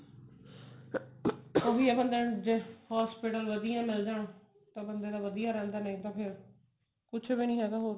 ਓਹੀ ਹੈ ਬੰਦੇ ਨੂੰ ਜੇ hospital ਵਧੀਆਂ ਮਿਲ ਜਾਨ ਤਾਂ ਬੰਦੇ ਦਾ ਵਧੀਆ ਰਹਿੰਦਾ ਨਹੀਂ ਤਾਂ ਫੇਰ ਕੁੱਛ ਵੀ ਨਹੀਂ ਹੈਗਾ ਫੇਰ ਤਾਂ